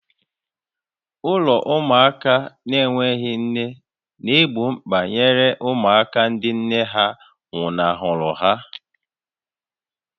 Ụlọ ụmụaka n'enweghị nne na-egbo mkpa nyere ụmụaka ndị nne ha nwụnahụrụ ha.